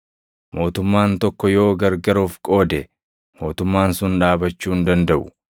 Mootummaan tokko yoo gargar of qoode, mootummaan sun dhaabachuu hin dandaʼu.